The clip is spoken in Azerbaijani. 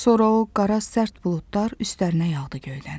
Sonra o qara sərt buludlar üstlərinə yağdı göydən.